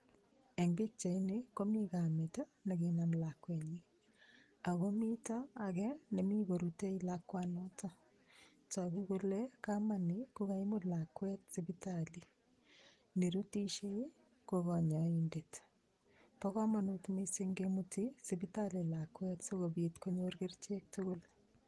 Eng' pikchaini komi kamet nekinam lakwet akomito age nemi korutei lakwanoto toku kole kamani kokaimut lakwet sipitali nirutishei ko kanyoindet bo komonut mising' kemuti sipitali lakwet sikobit konyor kerichek tugul